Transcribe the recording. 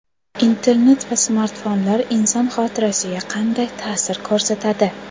Internet va smartfonlar inson xotirasiga qanday ta’sir ko‘rsatadi?.